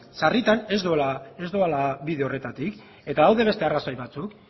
sarritan ez doala bide horretatik eta badaude beste arrazoi batzuk